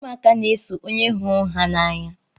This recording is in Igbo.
Ụmụaka na-eso onye hụrụ ha n'anya.